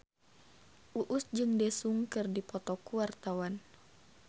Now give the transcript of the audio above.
Uus jeung Daesung keur dipoto ku wartawan